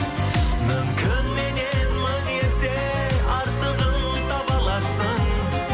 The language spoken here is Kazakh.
мүмкін меннен мың есе артығын таба аларсың